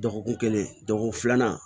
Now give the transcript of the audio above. Dɔgɔkun kelen dɔgɔkun filanan